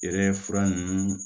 Yɛrɛ fura nunnu